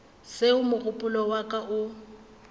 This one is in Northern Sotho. seo mogopolo wa ka o